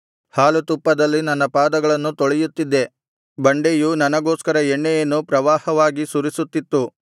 ಹಾಲು ತುಪ್ಪದಲ್ಲಿ ನನ್ನ ಪಾದಗಳನ್ನು ತೊಳೆಯುತ್ತಿದ್ದೆ ಬಂಡೆಯು ನನಗೋಸ್ಕರ ಎಣ್ಣೆಯನ್ನು ಪ್ರವಾಹವಾಗಿ ಸುರಿಸುತ್ತಿತ್ತು